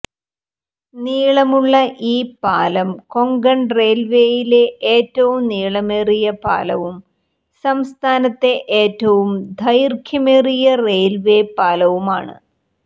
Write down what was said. നീളമുള്ള ഈ പാലം കൊങ്കൺ റെയിൽവേയിലെ ഏറ്റവും നീളമേറിയ പാലവും സംസ്ഥാനത്തെ ഏറ്റവും ദൈർഘ്യമേറിയ റെയിൽവേ പാലവുമാണ്